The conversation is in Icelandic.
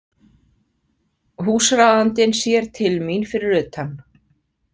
Húsráðandinn sér til mín fyrir utan.